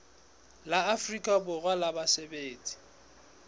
la afrika borwa la basebetsi